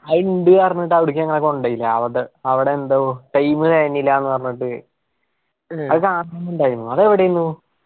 അത് ഇണ്ട് പറഞ്ഞിട്ട് അവടക്ക് ഞങ്ങളെ കൊണ്ടോയില്ല. അങ്ങോട്ട്. അവിട എന്തോ time തെകഞ്ഞില്ലാ പറഞ്ഞിട്ട് കാണണം ഇണ്ടായിനു അത് എവിടെയിനു.